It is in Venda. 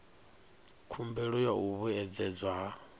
khumbelo ya u vhuedzedzwa ha